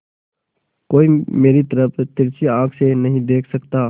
कोई मेरी तरफ तिरछी आँख से नहीं देख सकता